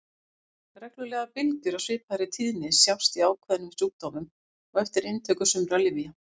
Reglulegar bylgjur af svipaðri tíðni sjást í ákveðnum sjúkdómum og eftir inntöku sumra lyfja.